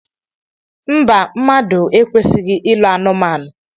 Mba, mmadụ ekwesighi ịlụ anumanu.